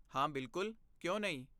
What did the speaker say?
ਹਾਂ, ਬਿਲਕੁਲ, ਕਿਉਂ ਨਹੀਂ?